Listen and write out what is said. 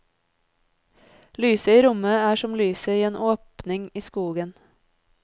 Lyset i rommet er som lyset i en åpning i skogen.